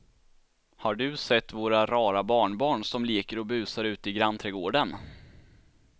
Har du sett våra rara barnbarn som leker och busar ute i grannträdgården!